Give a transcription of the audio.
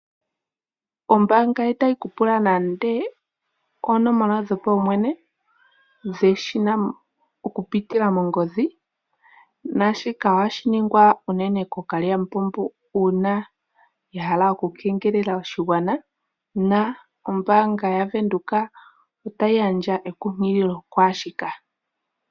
Ombanga itayi ku pula nande oonomola dhopaumwene dhesina okupitila mongodhi naashika ohashi ningwa unene kookalyamupombo uuna ya hala okukengelela oshigwana na ombanga yaVenduka otayi gandja ekunkililo kwaashika.